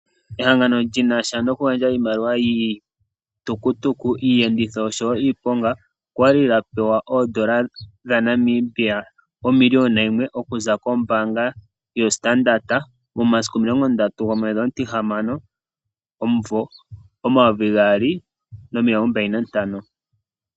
Ehangano li nasha noku gandja iimaliwa yiitukutuku, iiyenditho osho wo iiponga okwa li lya pewa ooN$1000 000.00 okuza kombaanga yo Standard momasiku 30/06/2025.